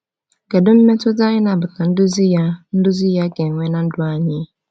Kedu mmetụta ịnabata nduzi ya nduzi ya ga-enwe na ndụ anyị?